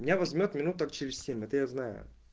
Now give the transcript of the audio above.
меня возьмёт минуток через семь это я знаю